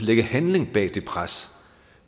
lægge handling bag det pres